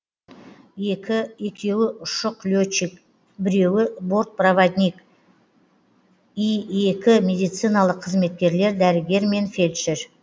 екі екеуі ұшық летчик біреуі борт проводник и екі медициналық қызметкерлер дәрігер мен фельдшер